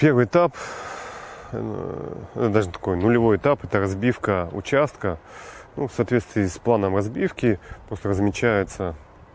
первый этап это даже такой нулевой этап это разбивка участка ну в соответствии с планом разбивки просто размечается